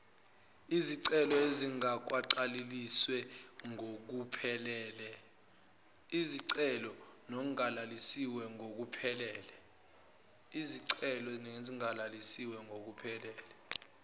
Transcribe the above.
izicelo ezingagcwalisiwe ngokuphelele